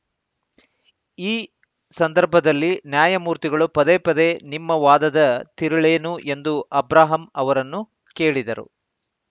ಆ ಸಂದರ್ಭದಲ್ಲಿ ನ್ಯಾಯಮೂರ್ತಿಗಳು ಪದೇ ಪದೇ ನಿಮ್ಮ ವಾದದ ತಿರುಳೇನು ಎಂದು ಅಬ್ರಹಾಂ ಅವರನ್ನು ಕೇಳಿದರು